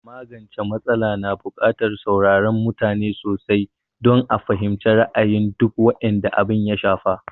Magance m\atsala na bukatar saurarar mutane sosai don a fahimci ra'ayin dukan waɗanda abin ya shafa